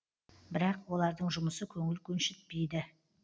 бірақ олардың жұмысы көңіл көншітпейді